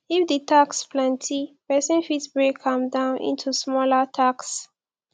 if di tasks plenty person fit break am down into smaller tasks